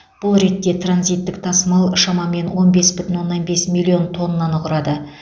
бұл ретте транзиттік тасымал шамамен он бес бүтін оннан бес миллион тоннаны құрады